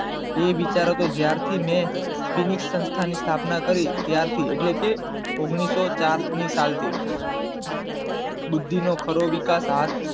તે વિચારો જ્યાર થી મેં ફીની સંશ્થા ની સ્થાપના કરી ત્યાર થી એટલે કે ઓગણીસો ચાર ની સાલ થી, બુદ્ધિ નો ખરો વિકાસ હાથ